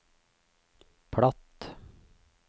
platt